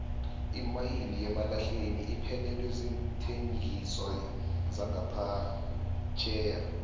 imayini yemalahleni iphelelwe ziinthengiswa zangaphetjheya